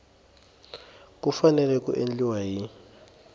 ku fanele ku endliwa hi